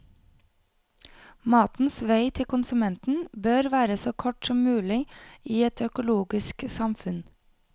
Matens vei til konsumenten bør være så kort som mulig i et økologisk samfunn.